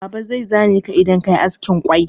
Baba zai zane ka idan ka yi askin quill.